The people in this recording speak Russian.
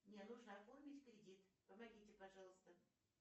мне нужно оформить кредит помогите пожалуйста